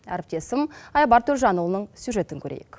әріптесім айбар төлжанұлының сюжетін көрейік